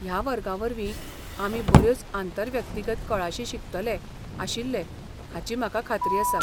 ह्या वर्गावरवीं आमी बऱ्योच आंतर व्यक्तिगत कळाशी शिकतले आशिल्ले हाची म्हाका खात्री आसा.